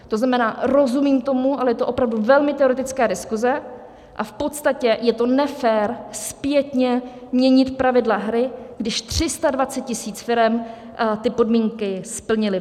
To znamená, rozumím tomu, ale je to opravdu velmi teoretická diskuze a v podstatě je to nefér zpětně měnit pravidla hry, když 320 000 firem ty podmínky splnilo.